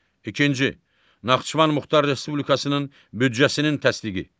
İkinci Naxçıvan Muxtar Respublikasının büdcəsinin təsdiqi.